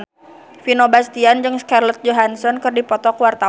Vino Bastian jeung Scarlett Johansson keur dipoto ku wartawan